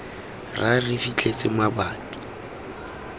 ra re re fitlhetse mabati